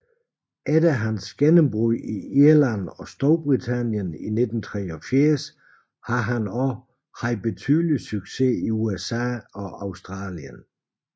Efter hans gennemrud i Irland og Storbritannien i 1983 har han også haft betydelig succes i USA og Australien